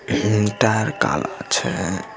Tyre काला छे।